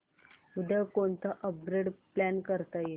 उद्या कोणतं upgrade plan करता येईल